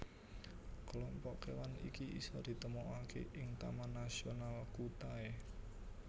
Kelompok kewan iki isa ditemokake ing Taman Nasional Kutai